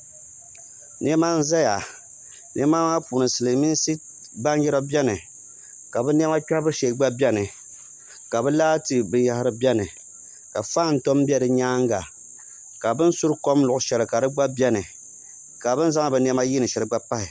Niɛma n ʒɛya niɛma maa puuni silmiinsi baanjira biɛni ka bi niɛma kpɛhabu shee gba biɛni ka bi laati binyahari gba biɛni ka faan tom bɛ di nyaanga ka bi ni suri kom luɣu shɛli ka di gba biɛni ka bini zaŋdi bi niɛma yiindi shɛli gba pahi